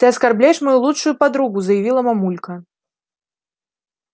ты оскорбляешь мою лучшую подругу заявила мамулька